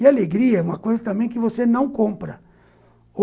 E alegria é uma coisa também que você não compra.